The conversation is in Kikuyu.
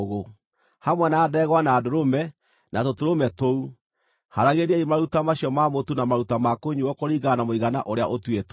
Hamwe na ndegwa, na ndũrũme, na tũtũrũme tũu, haaragĩriai maruta macio ma mũtu na maruta ma kũnyuuo kũringana na mũigana ũrĩa ũtuĩtwo.